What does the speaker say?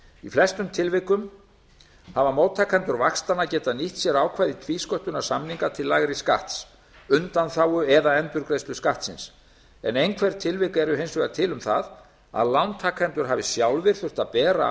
í flestum tilvikum hafa móttakendur vaxtanna geta nýtt sér ákvæði tvísköttunarsamninga til lægri skatts undanþágu eða endurgreiðslu skattsins en einhver tilvik eru hins vegar til um það að lántakendur hafi sjálfir þurft að bera